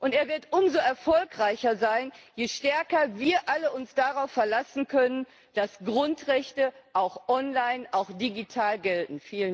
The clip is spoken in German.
Und er wird umso erfolgreicher sein, je stärker wir alle uns darauf verlassen können, dass Grundrechte auch online, auch digital gelten.